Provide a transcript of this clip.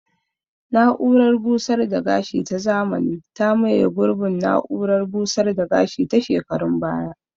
Na'urar busar da gashi ta zamani ta maye gurbin na'urar busar da gashi ta shekarun baya